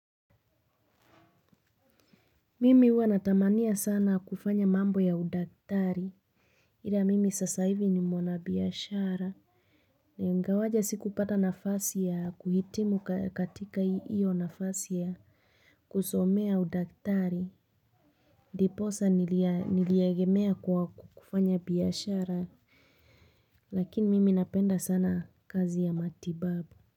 Mimi huwa natamania sana kufanya mambo ya udaktari. Ila mimi sasa hivi ni mwana biashara. Ingawaje sikupata nafasi ya kuhitimu katika hiyo nafasi ya kusomea udakitari. Ndipo asa niliegemea kwa kufanya biashara lakini mimi napenda sana kazi ya matibabu.